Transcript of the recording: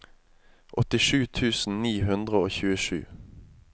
åttisju tusen ni hundre og tjuesju